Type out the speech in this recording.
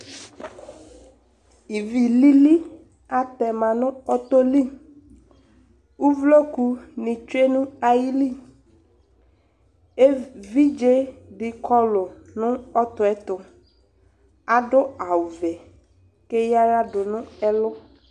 Ivi lili atɛ ma nʋ ɔtɔ li Uvlokunɩ tsue nʋ ayili Evidze dɩ kɔlʋ nʋ ɔtɔ yɛ tʋ Adʋ awʋvɛ kʋ eyǝ aɣla dʋ nʋ ɛlʋ